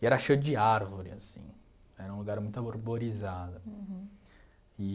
E era cheio de árvore assim, era um lugar muito arborizado e.